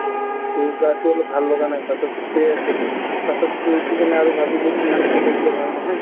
টো গাটো অলপ ভাল লগা নাই পাছত শুই আছিলো , পাছত শুই উঠি কিনে আৰু ভাবিলো ইমান শুই থাকিলে ভাল নহয়